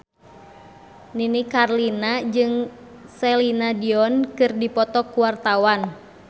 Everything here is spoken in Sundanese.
Nini Carlina jeung Celine Dion keur dipoto ku wartawan